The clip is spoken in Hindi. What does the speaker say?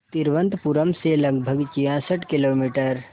तिरुवनंतपुरम से लगभग छियासठ किलोमीटर